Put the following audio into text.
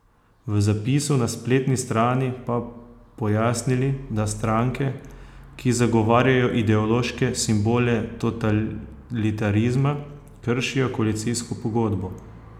V zapisu na spletni strani pa pojasnili, da stranke, ki zagovarjajo ideološke simbole totalitarizma, kršijo koalicijsko pogodbo.